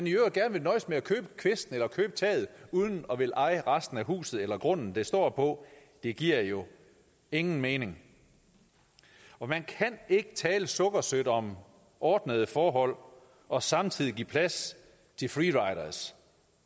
i øvrigt gerne nøjes med at købe kvisten eller købe taget uden at ville eje resten af huset eller grunden det står på det giver jo ingen mening man kan ikke tale sukkersødt om ordnede forhold og samtidig give plads til free riders